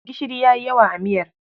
Gishiri ya yi yawa a miyar.